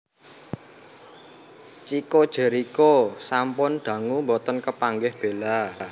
Chicco Jerikho sampun dangu mboten kepanggih Bella